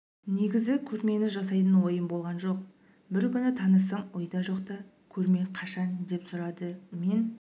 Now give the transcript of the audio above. негізі көрмені жасайтын ойым болған жоқ бір күні танысым ойда жоқта көрме қашан деп сұрады мен